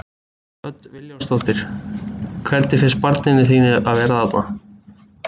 Hödd Vilhjálmsdóttir: Hvernig finnst barninu þínu að vera þarna?